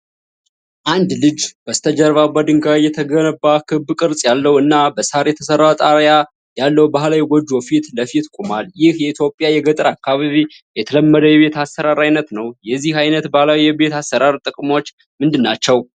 አንድ ልጅ በስተጀርባ በድንጋይ የተገነባ፣ ክብ ቅርጽ ያለው እና በሳር የተሰራ ጣሪያ ያለው ባህላዊ ጎጆ ፊት ለፊት ቆሟል። ይህ የኢትዮጵያ የገጠር አካባቢ የተለመደ የቤት አሰራር አይነት ነው። የዚህ አይነት ባህላዊ የቤት አሰራር ጥቅሞች ምንድናቸው?